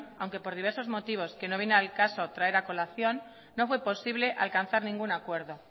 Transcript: aunque por diversos motivos que no vienen al caso traer a colación no fue posible alcanzar ningún acuerdo